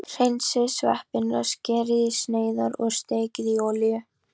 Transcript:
Hreinsið sveppina, skerið í sneiðar og steikið í olíu.